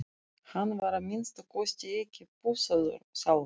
Hann var að minnsta kosti ekki pússaður sjálfur.